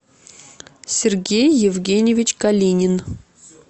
сергей евгеньевич калинин